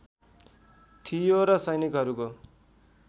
थियो र सैनिकहरूको